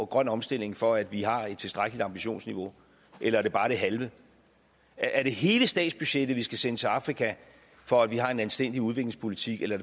grøn omstilling for at vi har et tilstrækkeligt ambitionsniveau eller er det bare det halve er det hele statsbudgettet vi skal sende til afrika for at vi har en anstændig udviklingspolitik eller